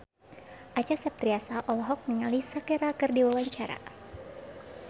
Acha Septriasa olohok ningali Shakira keur diwawancara